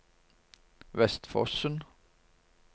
Vestfossen